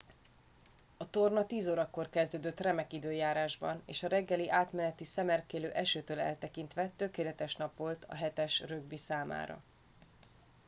a torna 10 órakor kezdődött remek időjárásban és a reggeli átmeneti szemerkélő esőtől eltekintve tökéletes nap volt a 7 es rögbi számára